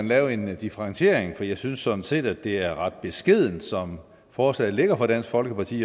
lave en differentiering jeg synes sådan set det er ret beskedent som forslaget ligger fra dansk folkepartis